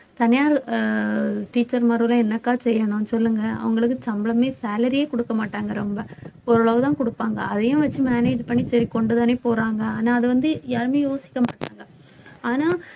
அஹ் teacher மாருல்லாம் என்னக்கா செய்யணும் சொல்லுங்க அவங்களுக்கு சம்பளமே salary யே குடுக்க மாட்டாங்க ரொம்ப ஓரளவுதான் குடுப்பாங்க அதையும் வச்சு manage பண்ணி சரி கொண்டுதானே போறாங்க ஆனா அது வந்து யாருமே யோசிக்க மாட்டாங்க ஆனா